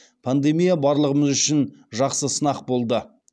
пандемия барлығымыз үшін жақсы сынақ болды